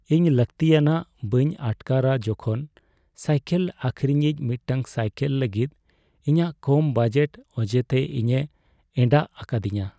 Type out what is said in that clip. ᱤᱧ ᱞᱟᱹᱠᱛᱤᱭᱟᱱᱟᱜ ᱵᱟᱹᱧ ᱟᱴᱠᱟᱨᱟ ᱡᱚᱠᱷᱚᱱ ᱥᱟᱭᱞᱮᱠ ᱟᱹᱠᱷᱨᱤᱧᱤᱡ ᱢᱤᱫᱴᱟᱝ ᱥᱟᱭᱠᱮᱞ ᱞᱟᱹᱜᱤᱫ ᱤᱧᱟᱹᱜ ᱠᱚᱢ ᱵᱟᱡᱮᱴ ᱚᱡᱮᱛᱮ ᱤᱧᱮ ᱮᱸᱰᱟᱜ ᱟᱠᱟᱫᱤᱧᱟᱹ ᱾